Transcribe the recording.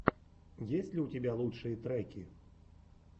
есть ли у тебя лучшие треки